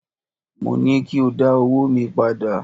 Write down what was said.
Mo ní kí o dá owóò mi padà!